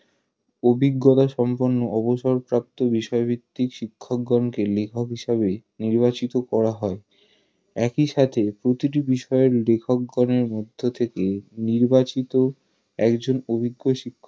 অভিজ্ঞতাসম্পন্ন অবসরপ্রাপ্ত বিষয়ভিত্তিক শিক্ষকগনকে লেখক হিসাবে নির্বাচিত করা হয় একই সাথে প্রতিটি বিষয়ের লেখকগনের মধ্য থেকে নির্বাচিত একজন অভিজ্ঞ শিক্ষককে